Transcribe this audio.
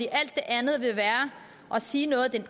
alt andet vil være at sige noget det